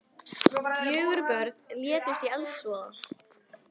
Fjögur börn létust í eldsvoða